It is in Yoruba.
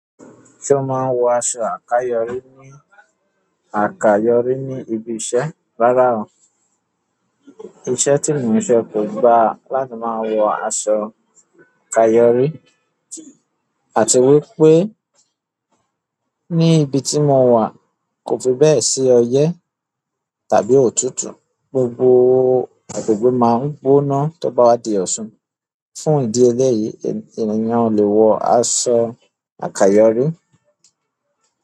Ṣé o máa ń wo aṣọ àkayọ̀rí ní àkayọ̀rí ní ibi iṣẹ́? Rárá o. Iṣẹ́ tí mo ń ṣe kò gba láti máa wọ aṣọ àkayọ̀rí, àti wípé ní ibi tí mo wà kò fi bẹ́ẹ̀ sí ọyẹ́ tàbí òtútù. Gbogbo agbègbè máa ń gbóná tó bá wá di ọ̀ṣun. Fún ìdí eléyìí, ènìyàn ò lẹ́ wọ aṣọ àkayọ̀rí.